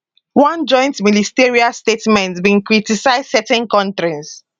one joint ministerial statement bin criticise certain kontris